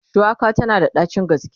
shuwaka tana da ɗacin gaske